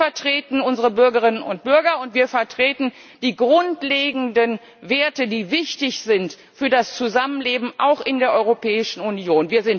Wir vertreten unsere Bürgerinnen und Bürger, und wir vertreten die grundlegenden Werte, die wichtig sind für das Zusammenleben auch in der Europäischen Union.